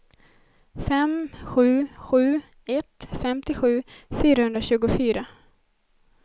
fem sju sju ett femtiosju fyrahundratjugofyra